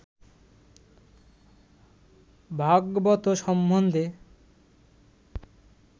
ভাগবত সম্বন্ধে